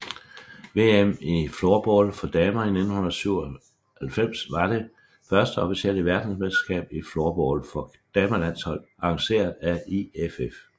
VM i floorball for damer 1997 var det første officielle Verdensmesterskab i floorball for damelandshold arrangeret af IFF